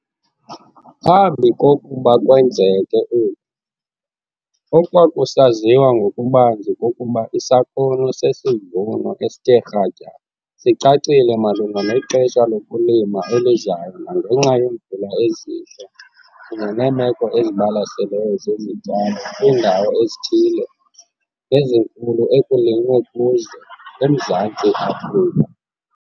Phambi kokuba kwenzeke oku, okwakusaziwa ngokubanzi kukuba isakhono sesivuno esithe kratya sicacile malunga nexesha lokulima elizayo nangenxa yeemvula ezintle kunye neemeko ezibalaseleyo zezityalo kwiindawo ezithile nezinkulu ekulinywe kuzo eMzantsi Afrika.